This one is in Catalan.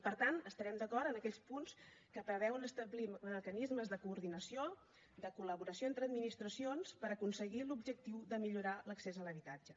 per tant estarem d’acord en aquells punts que preveuen establir mecanismes de coordinació i de col·laboració entre administracions per aconseguir l’objectiu de millorar l’accés a l’habitatge